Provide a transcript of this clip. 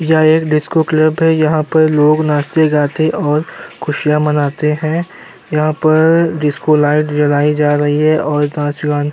यह एक disco club है। यहां पर लोग नाचते गाते और खुशियां मनाते हैं। यहां पर डिस्को लाइट जलाई जा रही है और नाच गान --